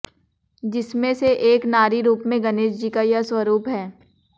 जिसमें से एक नारी रूप में गणेश जी का यह स्वरूप है